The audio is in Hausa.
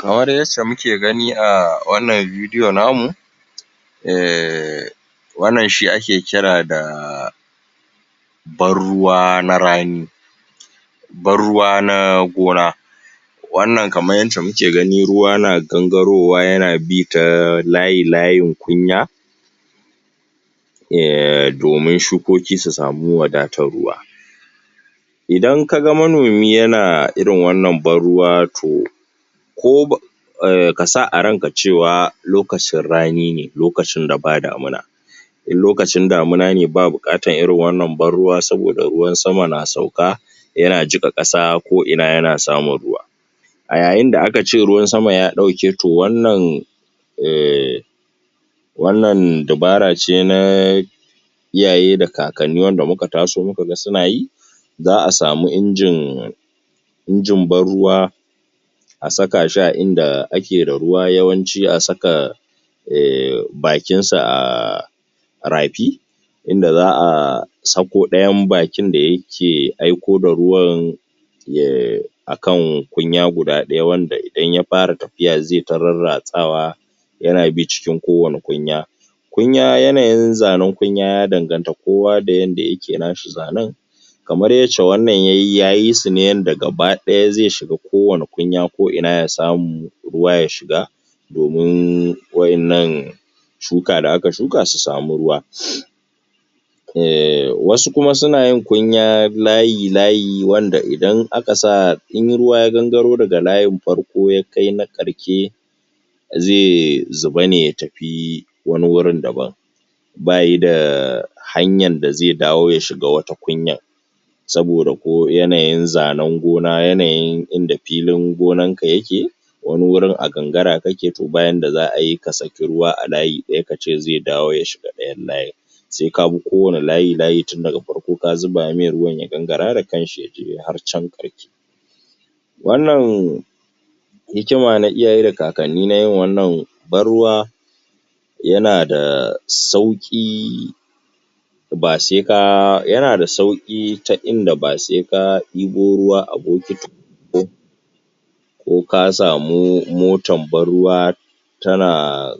kamar yacca muke gani a wannan vedio namu wannan shi ake kira da ban ruwa na rani ban ruwa na gona wannan kamar yacca muke gani ruwa na gangarowa yana bi ta layi layin kunya domin shukoki su samu wadatar ruwa idan kaga manomi yana irin wannan ban ruwa to ko ba kasa a ranka cewa lokacin rani ne lokacin daba damuna in lokacin damuna ne ba buƙatar irin wannan ban ruwa saboda ruwan sama na sauka yana jiƙa ƙasa ko ina yana samun ruwa a yayin da aka ce ruwan sama ya ɗauke to wannan wanna dabara ce na iyaye da kakanni wanda muka taso muka ga suna yi za'a samu injin injin ban riwa a saka shi a inda ake da ruwa yawanci a saka bakin sa a rafi inda za'a sako ɗayan bakin da yake aiko da ruwan ya akan kunya guda ɗaya wanda idan ya fara tafiya zeta rarratsawa yana bi cikin kowanne kunya kunya yanayin zanen kunya ya danganta kowa da yanda yake nashi zanen kamar yacca wannan yayi ya yi sune yanda gaba ɗaya ze shiga ko wanne kuya ko ina ya samu ruwa ya shiga domin waƴannan shuka da aka shuka su samu ruwa wasu kuma suna yin kunya layi layi wanda idan aka sa in ruwa ya gangaro daga layin farko yakai na ƙarshe ze zuba ne ya tafi wani gurin daban bayida hanyar da ze dawo ya shiga wata kunyar saboda ko yanayi zanen gona yanayin inda filin ganan ka yake wani gurin a gangara kake to ba yadda za'ai ka saki ruwa a layi ɗaya kace ze dawo ya shiga ɗayan layin se kabi kowanne layi layi tin daga farko ka zuba mai ruwan ya gangara da kanshi yaje har can ƙarshe wannan hikima na iyaye da kakanni na yin wannan ban ruwa yana da sauƙi ba seka yana da ta inda ba seka ebo ruwa a bukiti ko ko ka samu motan ban ruwa tana